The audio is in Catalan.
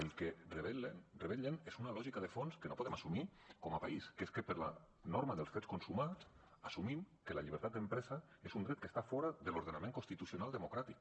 el que revelen és una lògica de fons que no podem assumir com a país que és que per la norma dels fets consumats assumim que la llibertat d’empresa és un dret que està fora de l’ordenament constitucional democràtic